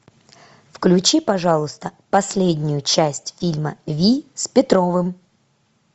включи пожалуйста последнюю часть фильма вий с петровым